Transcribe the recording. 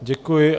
Děkuji.